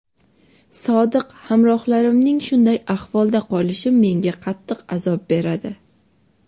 Sodiq hamrohlarimning shunday ahvolda qolishi menga qattiq azob beradi.